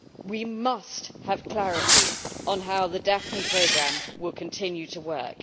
We must have clarity on how the Daphne Programme will continue to work.